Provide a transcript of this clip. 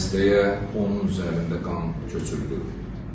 Xəstəyə 10-un üzərində qan köçürülüb.